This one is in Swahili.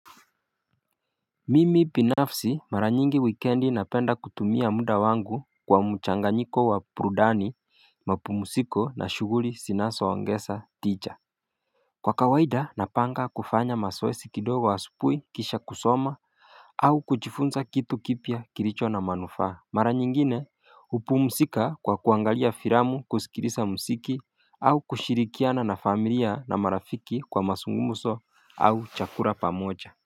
Mimi binafsi mara nyingi wikendi napenda kutumia muda wangu kwa mchanganyiko wa burudani mapumuziko na shughuli zinaso ongez tija Kwa kawaida napanga kufanya mazoezi kidogo asubuhi kisha kusoma au kujifunza kitu kipya kilicho na manufaa Mara nyingine hupumuzika kwa kuangalia filamu kusikiliza mziki au kushirikiana na familia na marafiki kwa mazungumuzo au chakula pamoja.